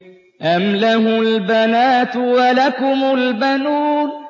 أَمْ لَهُ الْبَنَاتُ وَلَكُمُ الْبَنُونَ